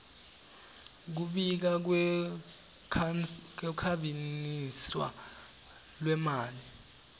kubika kukhwabaniswa kwemali